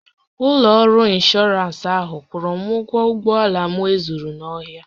Ụlọ ọrụ ịnshọọransị ahụ kwụrụ m ụgwọ ụgbọala m e zuru n'ohi